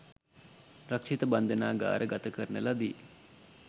රක්ෂිත බන්ධනාගාර ගත කරන ලදී.